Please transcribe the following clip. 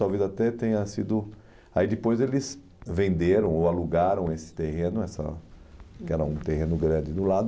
Talvez até tenha sido... Aí depois eles venderam ou alugaram esse terreno essa que era um terreno grande do lado.